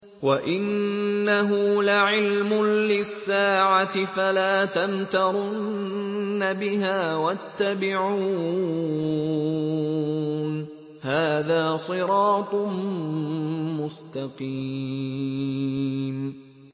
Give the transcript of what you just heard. وَإِنَّهُ لَعِلْمٌ لِّلسَّاعَةِ فَلَا تَمْتَرُنَّ بِهَا وَاتَّبِعُونِ ۚ هَٰذَا صِرَاطٌ مُّسْتَقِيمٌ